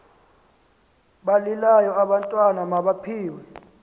balilayo abantwana mabaphiwe